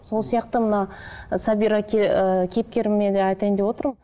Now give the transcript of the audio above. сол сияқты мына ы сабира ыыы кейіпкеріме де айтайын деп отырмын